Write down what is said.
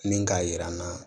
Min k'a yira n na